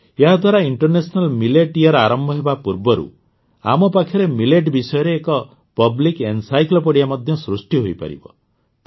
ଏହାଦ୍ୱାରା international millet year ଆରମ୍ଭ ହେବା ପୂର୍ବରୁ ଆମ ପାଖରେ ମିଲେଟ୍ ବିଷୟରେ ଏକ ପବ୍ଲିକ୍ ଏନସାଇକ୍ଲୋପିଡିଆ ମଧ୍ୟ ସୃଷ୍ଟି ହୋଇପାରିବ